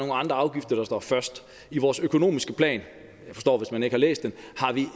andre afgifter der står først i vores økonomiske plan jeg forstår hvis man ikke har læst den